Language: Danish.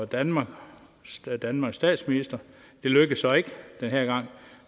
danmark og danmarks statsminister det lykkedes så ikke denne gang